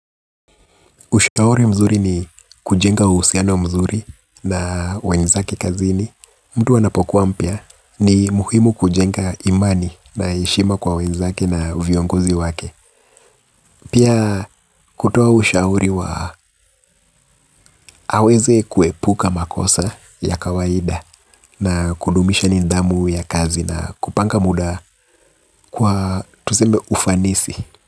Ushauri mzuri ni kujenga uhusiano mzuri na wenzake kazini. Mtu anapokuwa mpya ni muhimu kujenga imani na heshima kwa wenzake na viongozi wake. Pia kutua ushauri wa aweze kuepuka makosa ya kawaida na kudumisha nidhamu ya kazi na kupanga muda kwa tuseme ufanisi.